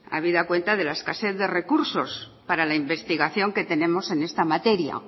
habida cuenta de la escasez de recursos para la investigación que tenemos en esta materia